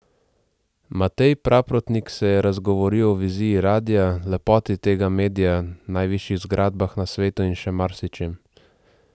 Matej Praprotnik se je razgovoril o viziji radia, lepoti tega medija, najvišjih zgradbah na svetu in še marsičem ...